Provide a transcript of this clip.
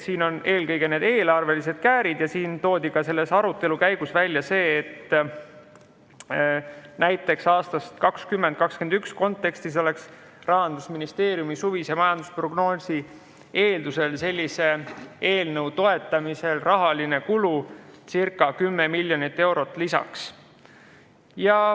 Siin on eelkõige eelarvelised käärid ja arutelu käigus toodi välja ka see, et Rahandusministeeriumi suvise majandusprognoosi alusel oleks näiteks 2021. aastal sellise eelnõu toetamisel rahaline kulu circa 10 miljonit eurot lisaks.